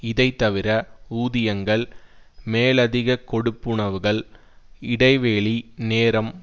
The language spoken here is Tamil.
இதைத்தவிர ஊதியங்கள் மேலதிக கொடுப்புனவுகள் இடைவெளி நேரம்